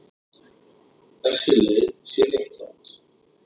Þessi leið sé réttlát.